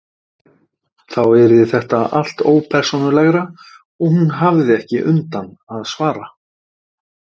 Þá yrði þetta allt ópersónulegra og hún hefði ekki undan að svara.